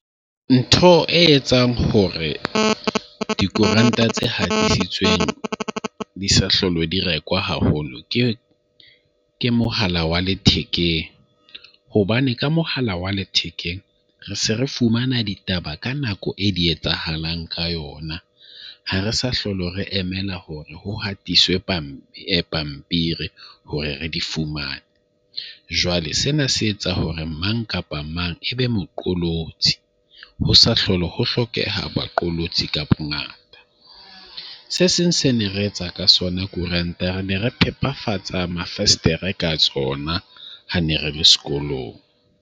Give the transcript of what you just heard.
Ntho e etsang hore dikoranta tse hatisitsweng di sa hlolo di rekwa haholo, ke mohala wa lethekeng. Hobane ka mohala wa lethekeng re se re fumana ditaba ka nako e di etsahalang ka yona. Ha re sa hlole re emela hore ho hatiswe pampiri hore re di fumane. Jwale sena se etsa hore mang kapa mang ebe moqolotsi. Ho sa hlola ho hlokeha baqolotsi ka bongata. Se seng se ne re etsa ka sona koranta re ne re phepafatse mavestere ka tsona ha ne re le sekolong.